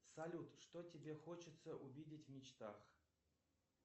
салют что тебе хочется увидеть в мечтах